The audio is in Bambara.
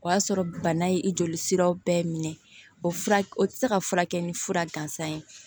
O y'a sɔrɔ bana ye i joli siraw bɛɛ minɛ o fura o ti se ka furakɛ ni fura gansan ye